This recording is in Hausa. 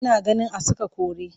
Ina ganin a saka kore